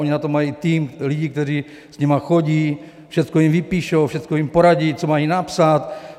Oni na to mají tým lidí, kteří s nimi chodí, všechno jim vypíšou, všechno jim poradí, co mají napsat.